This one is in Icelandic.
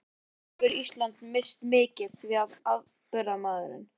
Nú hefur Ísland misst mikið, því að afburðamaðurinn